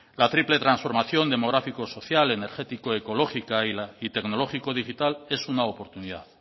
la triple transformación demográfico social energético ecológica y tecnológico digital es una oportunidad